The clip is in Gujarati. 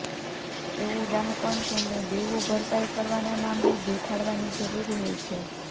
એવું ડહાપણ તેમણે દેવું ભરપાઈ કરવાના મામલે દેખાડવાની જરૂર હોય છે